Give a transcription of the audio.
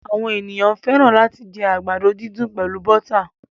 Àwọn ènìyàn fẹ́ràn làti jẹ àgbàdo didùn pẹlu bọ́tà